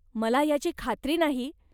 मला ह्याची खात्री नाही.